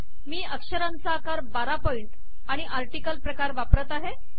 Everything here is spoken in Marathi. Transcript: मी अक्षरांचा आकार १२ पॉइंट आणि आर्टिकल प्रकार वापरत आहे